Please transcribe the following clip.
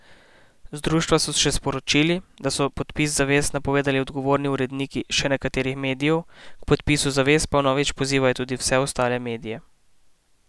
Z društva so še sporočili, da so podpis zavez napovedali odgovorni uredniki še nekaterih medijev, k podpisu zavez pa vnovič pozivajo tudi vse ostale medije.